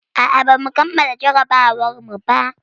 A'a, bamu kammala jarrabawarmu ba.